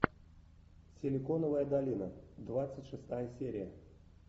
силиконовая долина двадцать шестая серия